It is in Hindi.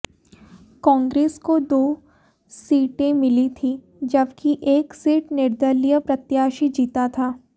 कांग्रेस को दो सीटें मिली थीं जबकि एक सीट निर्दलीय प्रत्याशी जीता था